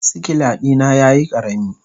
sikila dina yayi karami.